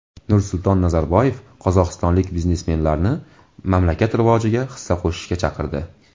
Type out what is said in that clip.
Nursulton Nazarboyev qozog‘istonlik biznesmenlarni mamlakat rivojiga hissa qo‘shishga chaqirdi.